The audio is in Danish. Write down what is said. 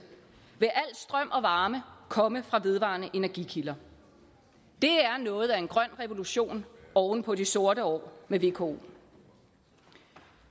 vil al strøm og varme komme fra vedvarende energikilder det er noget af en grøn revolution oven på de sorte år med vko